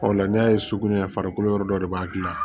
Ɔ la n'a ye so minɛ farikolo yɔrɔ dɔ de b'a dilan